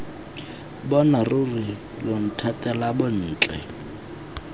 bona ruri lo nthatela bontle